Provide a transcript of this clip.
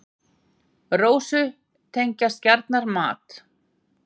Rósu tengjast gjarnan mat.